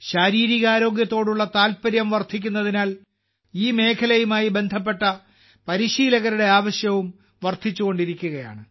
ശാരീരിക ആരോഗ്യത്തോടുള്ള താൽപര്യം വർദ്ധിക്കുന്നതിനാൽ ഈ മേഖലയുമായി ബന്ധപ്പെട്ട പരിശീലകരുടെ ആവശ്യവും വർദ്ധിച്ചുകൊണ്ടിരിക്കുകയാണ്